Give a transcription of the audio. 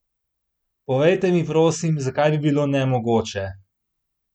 Povejte mi prosim, zakaj bi bilo nemogoče?